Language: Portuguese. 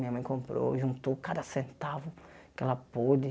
Minha mãe comprou, e juntou cada centavo que ela pôde.